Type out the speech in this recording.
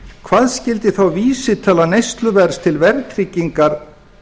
hvað skyldi þá vísitala neysluverðs til verðtryggingar